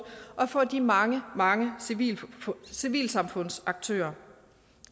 og for de mange mange civilsamfundsaktører